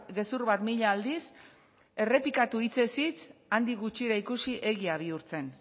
gezur bat mila aldiz errepikatu hitzez hitz handik gutxira ikusi egia bihurtzen